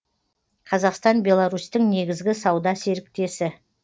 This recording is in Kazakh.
қазақстан беларусьтің негізгі сауда серіктесі